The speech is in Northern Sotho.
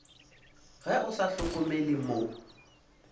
ge o sa hlokomele mo